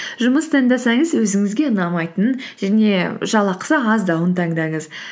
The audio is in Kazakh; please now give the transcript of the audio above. жұмыс таңдасаңыз өзіңізге ұнамайтынын және жалақсы аздауын таңдаңыз